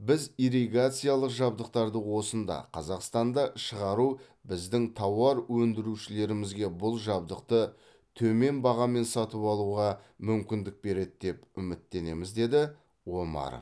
біз ирригациялық жабдықтарды осында қазақстанда шығару біздің тауар өндірушілерімізге бұл жабдықты төмен бағамен сатып алуға мүмкіндік береді деп үміттенеміз деді омаров